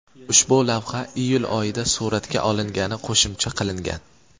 Ushbu lavha iyul oyida suratga olingani qo‘shimcha qilingan.